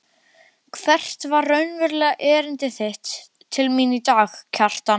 Hvert var raunverulegt erindi þitt til mín í dag, Kjartan?